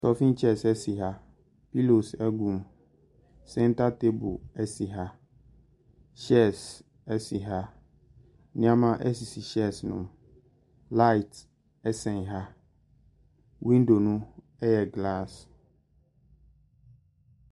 Staffing chairs si ha. Pillows gum. Centre table si ha. Shelves si ha. Nneɛma sisi shelves no mu. Light sɛn ha. Window no yɛ glass.